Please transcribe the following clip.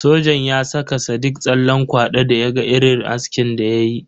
Sojan ya saka sadiq tsallen kwado da ya ga irin askin da ya yi.